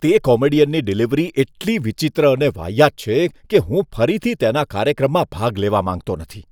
તે કોમેડિયનની ડિલિવરી એટલી વિચિત્ર અને વાહિયાત છે કે હું ફરીથી તેના કાર્યક્રમમાં ભાગ લેવા માંગતો નથી.